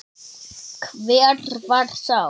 Hver var sá?